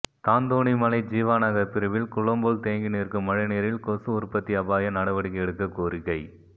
தாந்தோணிமலை ஜீவா நகர் பிரிவில் குளம்போல் தேங்கி நிற்கும் மழைநீரில் கொசு உற்பத்தி அபாயம் நடவடிக்கை எடுக்க கோரிக்கை